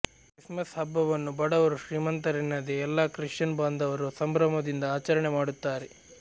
Christmas ಹಬ್ಬವನ್ನು ಬಡವರು ಶ್ರೀಮಂತರೆನ್ನದೆ ಎಲ್ಲಾ ಕ್ರಿಶ್ಚಿಯನ್ ಬಾಂಧವರು ಸಂಭ್ರಮದಿಂದ ಆಚರಣೆ ಮಾಡುತ್ತಾರೆ